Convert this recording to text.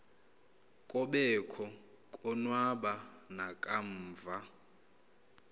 kobekho konwaba nakamva